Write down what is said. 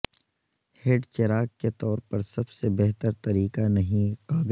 head چراغ کے طور پر سب سے بہتر طریقہ نہیں قابل